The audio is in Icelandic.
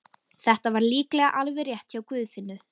Þetta var líklega alveg rétt hjá Guðfinnu.